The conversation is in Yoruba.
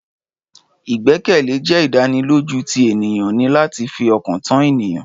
Ìgbẹ́kẹ̀lé jẹ́ ìdánilójú tí ènìyàn ní láti fi ọkàn tán ẹnìkan